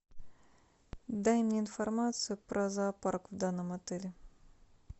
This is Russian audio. дай мне информацию про зоопарк в данном отеле